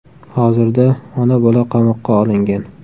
Hozirda ona-bola qamoqqa olingan.